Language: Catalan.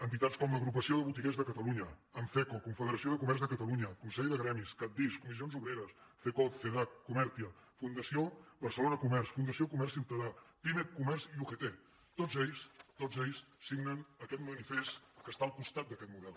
entitats com l’agrupació de botiguers de catalunya anceco confederació de comerç de catalunya consell de gremis cat dis comissions obreres cecot cedac comertia fundació barcelona comerç fundació comerç ciutadà pimec comerç i ugt tots ells tots ells signen aquest manifest que està al costat d’aquest model